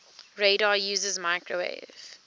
radar uses microwave